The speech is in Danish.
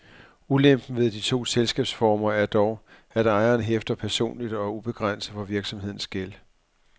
Ulempen ved de to selskabsformer er dog, at ejeren hæfter personligt og ubegrænset for virksomhedens gæld.